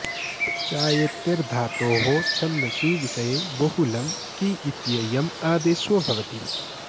चायतेर् धातोः छन्दसि विषये बहुलं की इत्ययम् आदेशो भवति